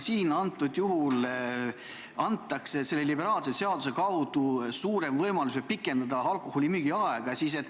Siin antakse selle liberaalse seaduse kaudu suurem võimalus pikendada alkoholimüügi aega.